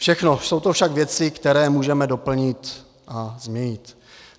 Všechno jsou to však věci, které můžeme doplnit a změnit.